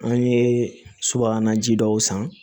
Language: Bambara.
An ye subahana ji dɔw san